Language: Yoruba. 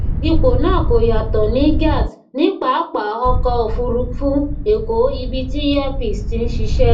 ipò náà kò yàtọ ní gat ní papa ọkọ òfurufú eko ibi tí air peace ti ń ṣiṣẹ